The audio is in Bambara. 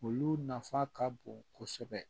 Olu nafa ka bon kosɛbɛ